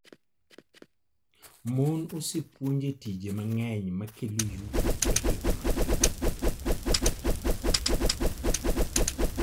Mon osepuonj e tije mang'eny ma kelo yuto e higa mangima.